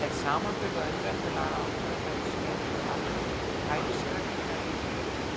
Með samanburði á umræddum lagaákvæðum verður þó séð, að almennu hæfisreglurnar í